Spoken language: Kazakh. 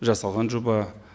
жасалған жоба